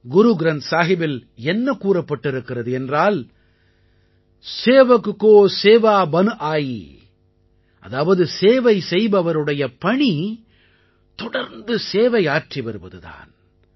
குருக்ரந்த் சாஹிபில் என்ன கூறப்பட்டிருக்கிறது என்றால் सेवक को सेवा बन आई சேவக் கோ சேவா பன் ஆயீ அதாவது சேவை செய்பவருடைய பணி தொடர்ந்து சேவை ஆற்றி வருவது தான்